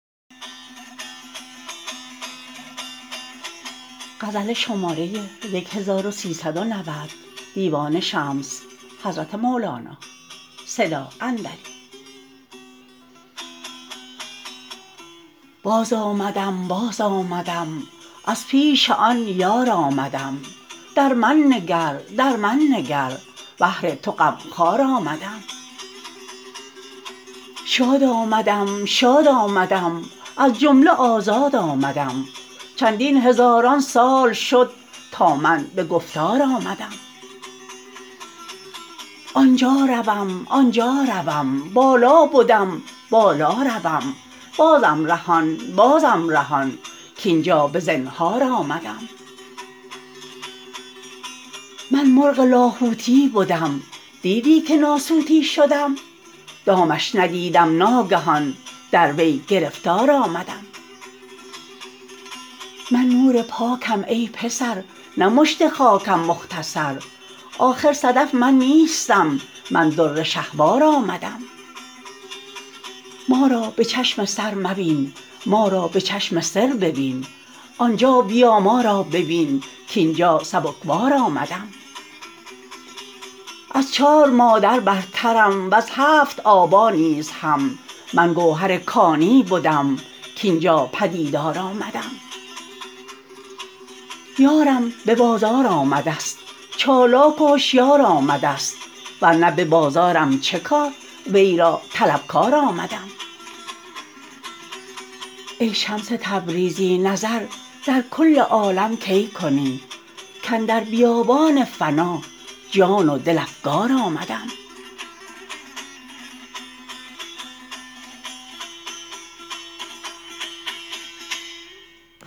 باز آمدم باز آمدم از پیش آن یار آمدم در من نگر در من نگر بهر تو غم خوار آمدم شاد آمدم شاد آمدم از جمله آزاد آمدم چندین هزاران سال شد تا من به گفتار آمدم آن جا روم آن جا روم بالا بدم بالا روم بازم رهان بازم رهان کاین جا به زنهار آمدم من مرغ لاهوتی بدم دیدی که ناسوتی شدم دامش ندیدم ناگهان در وی گرفتار آمدم من نور پاکم ای پسر نه مشت خاکم مختصر آخر صدف من نیستم من در شهوار آمدم ما را به چشم سر مبین ما را به چشم سر ببین آن جا بیا ما را ببین کاین جا سبک بار آمدم از چار مادر برترم وز هفت آبا نیز هم من گوهر کانی بدم کاین جا به دیدار آمدم یارم به بازار آمده ست چالاک و هشیار آمده ست ور نه به بازارم چه کار وی را طلبکار آمدم ای شمس تبریزی نظر در کل عالم کی کنی کاندر بیابان فنا جان و دل افگار آمدم